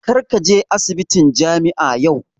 Kar ka je asibitin jami'a yau!